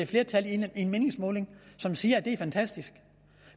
flertal i en meningsmåling som siger er det er fantastisk